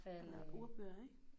Og der ordbøger ik